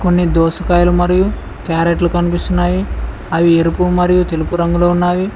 దోసకాయలు మరియు క్యారెట్లు కనిపిస్తున్నాయి అవి ఎరుపు మరియు తెలుపు రంగులో ఉన్నవి.